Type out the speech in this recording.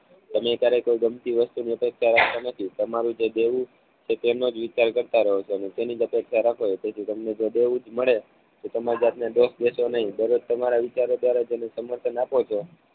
તમે ક્યારેય કોઈ ગમતી વસ્તુની અપેક્ષા રાખતા નથી તમારું જે દેવું છે તેનો જ વિચાર કરતા રહો છો. અને તેની જ અપેક્ષા રાખો છો તેથી તમને દેવું જ મળે તો તમારી જાત ને દોષ દેસો નહિ દરેક તમારા વિચારો દ્વારા જેને સમર્થન આપો છો